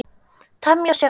Temja sér aga.